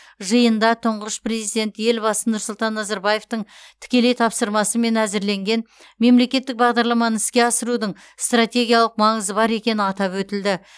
жиында тұңғыш президент елбасы нұрсұлтан назарбаевтың тікелей тапсырмасымен әзірленген мемлекеттік бағдарламаны іске асырудың стратегиялық маңызы бар екені атап өтілді